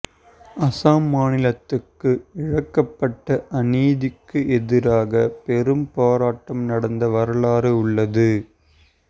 அஸ்ஸாம் மாநிலத்துக்கு இழைக்கப்பட்ட அநீதிக்கு எதிராக பெரும் போராட்டம் நடந்த வரலாறு உள்ளது